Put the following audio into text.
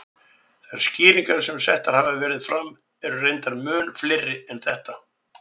Þær skýringar sem settar hafa verið fram eru reyndar mun fleiri en þetta.